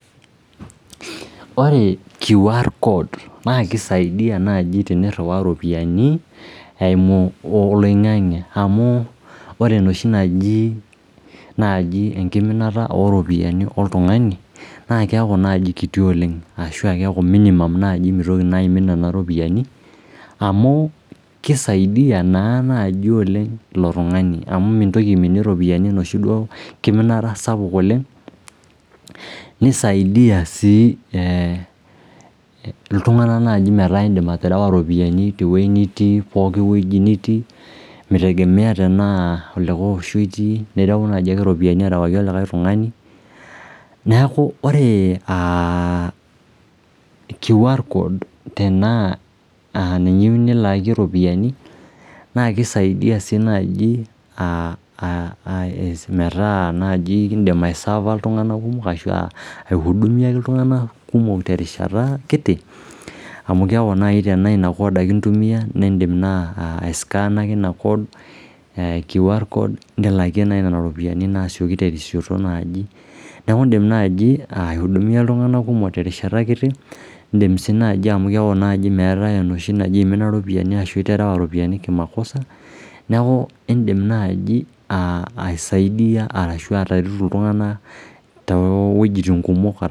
Ore QR code naa kisaidia naji teniriwaa ropiyiani eimu oloingange amu ore enoshi naji enkiminata oropiyiani oltungani naa keaku naji kiti oleng ashu keaku minimum mitoki aimin nena ropiyiani nisaidia naji oltunganak metaa indim aterewa ropiyiani tepoki wueji nitii mitegemea tenaa likae osho itii nirew naji ropiyiani arewaki likae tungani . Neku naji ore QR code naa kisaidia naji metaa indim aisava iltunganak kumok terishata kiti